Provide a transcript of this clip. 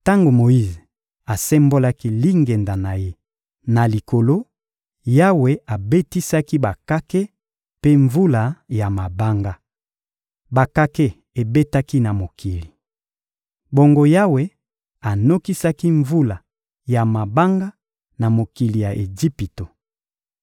Tango Moyize asembolaki lingenda na ye na likolo, Yawe abetisaki bakake mpe mvula ya mabanga. Bakake ebetaki na mokili. Bongo Yawe anokisaki mvula ya mabanga na mokili ya Ejipito.